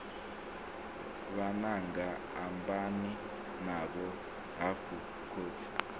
vhananga ambani navho hafhu khotsi